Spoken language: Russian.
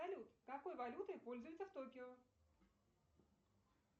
салют какой валютой пользуются в токио